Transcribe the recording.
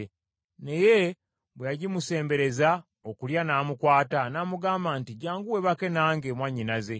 Naye bwe yagimusembereza okulya n’amukwata, n’amugamba nti, “Jjangu weebake nange, mwannyinaze.”